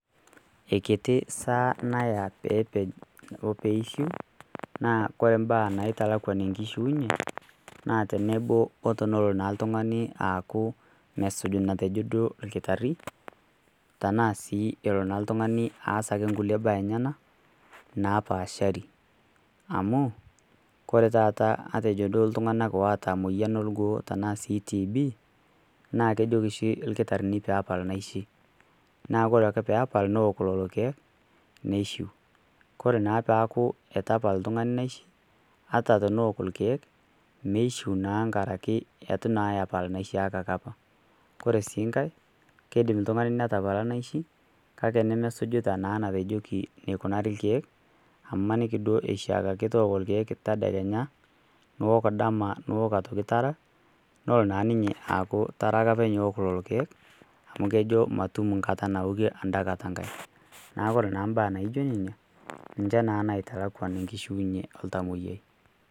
Keikiti esaa naya peepej o peishiu naa kore mbaa naaitalakwan enkishiunye naa tenebo o tonolo naa ltung'ani aaku mesuj natejo duo lkitarri tanaa sii elo naa ltung'ani aas ake nkuie baa enyana naapaashari amu kore taata matejo duo ltung'ana ooata moyian o lgoo tanaa sii TB naa kejoki shi lkitarrini peepal naishi naa kore ake peepal nowok lolo keek neishiu. Kore naa peeaku eitu epal ltung'ani naishi hata tonowok lolo keek meishiu naa nkaraki eitu naa epal naishiakaki apa. Kore sii nkae, keidim ltung'ani netapala naishi kake nemesujita naa natejoki keikunari lkeek amu imaniki duo eishiakaki tooko lkeek tadekenya, nuwok dama, nuwok aitoki tara nolo naa ninye aaku tara ake apeny ewok lolo keek amu kejo matum nkata nawokie anda kata nkae. Naaku kore naa mbaa naijo nenia ninche naa naitalakwan nkishuinye e ltamoyiai.